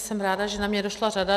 Jsem ráda, že na mě došla řada.